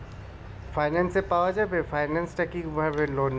finance এ পাওয়া যাবে finance টা কি ভাবে loan নেবো